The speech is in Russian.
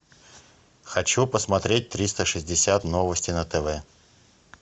хочу посмотреть триста шестьдесят новости на тв